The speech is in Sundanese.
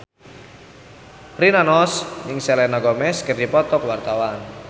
Rina Nose jeung Selena Gomez keur dipoto ku wartawan